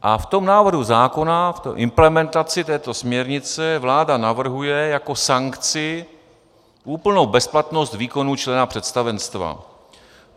A v tom návrhu zákona, v implementaci této směrnice vláda navrhuje jako sankci úplnou bezplatnost výkonu člena představenstva.